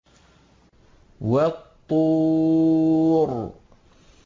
وَالطُّورِ